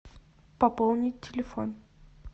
пополнить телефон